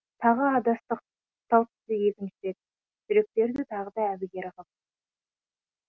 тағы адастық тал түсте екінші рет жүректерді тағы да әбігер ғып